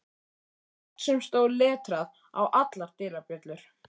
Nafn sem stóð letrað á allar dyrabjöllur.